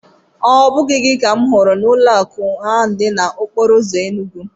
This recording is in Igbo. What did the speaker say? Ọ bụghị gị ka m hụrụ n'ụlọakụ ahụ dị n'okporoụzọ Enugu?